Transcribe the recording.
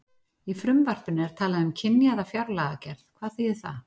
Í frumvarpinu er talað um kynjaða fjárlagagerð, hvað þýðir það?